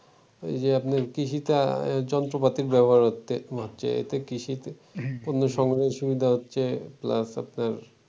ওই যে আপনার কৃষিতে যন্ত্রপাতির ব্যবহার হচ্ছে এতে কৃষিতে পণ্য সরবরাহের সুবিধা হচ্ছে plus আপনার